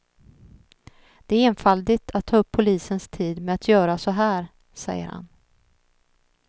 Det är enfaldigt att ta upp polisens tid med att göra så här, säger han.